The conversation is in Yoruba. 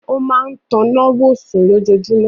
Ó máa tan ìnáwó sùn lójoojúmọ́.